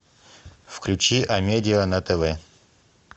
включи амедиа на тв